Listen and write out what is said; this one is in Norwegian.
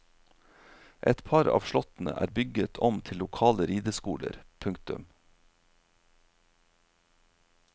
Et par av slottene er bygget om til lokale rideskoler. punktum